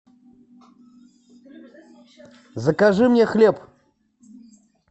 закажи мне хлеб